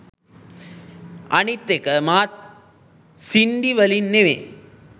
අනිත් එක මාත් සින්ඩි වලින් නෙවෙයි